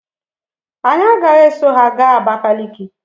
Anyị agaghị eso ha gaa Abakaliki.